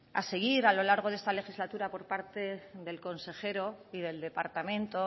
a seguir a lo largo de esta legislatura por parte del consejero y del departamento